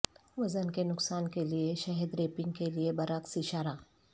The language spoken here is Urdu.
وزن کے نقصان کے لئے شہد ریپنگ کے لئے برعکس اشارہ